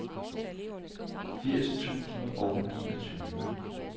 firs tusind og niogtyve